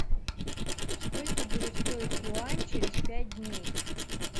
сколько будет стоить юань через пять дней